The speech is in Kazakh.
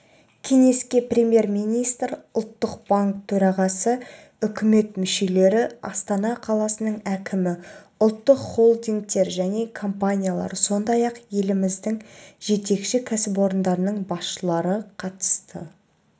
кеңеске премьер-министр ұлттық банк төрағасы үкімет мүшелері астана қаласының әкімі ұлттық холдингтер және компаниялар сондай-ақ еліміздің жетекші кәсіпорындарының басшылары қатысты